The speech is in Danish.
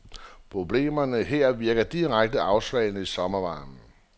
Problemerne her virker direkte afsvalende i sommervarmen.